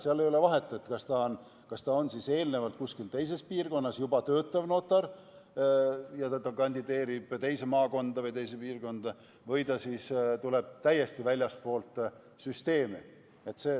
Seal ei ole vahet, kas ta on eelnevalt kuskil teises piirkonnas juba töötav notar ja kandideerib teise maakonda või teise piirkonda või ta tuleb väljastpoolt süsteemi.